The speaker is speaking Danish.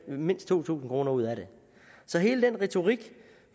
mindst to tusind kroner ud af det så hele den retorik